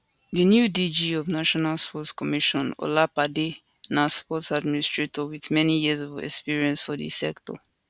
di new dg of national sports commission olopade na sports administrator wit many years of experience for di sector